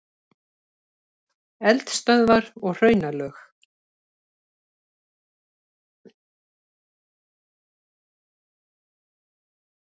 Eldstöðvar og hraunlög.